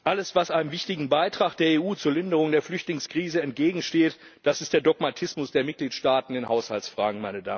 Alles, was einem wichtigen Beitrag der EU zur Linderung der Flüchtlingskrise entgegensteht, ist der Dogmatismus der Mitgliedstaaten in Haushaltsfragen.